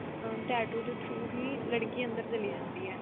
tattoo ਦੇ trough ਹੀ ਲੜਕੀ ਅੰਦਰ ਚਲੀ ਜਾਂਦੀ ਏ